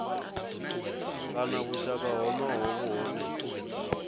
kana vhushaka honoho vhu hone